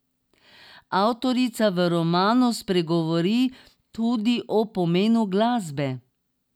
Avtorica v romanu spregovori tudi o pomenu glasbe.